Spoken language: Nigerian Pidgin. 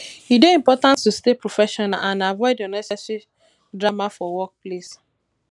e dey important to stay professional and avoid unnecessary drama for workplace